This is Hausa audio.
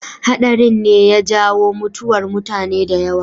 Haɗarin ne ya jawo mutuwar mutane da yawa.